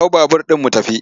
Hau babur ɗin mu tafi!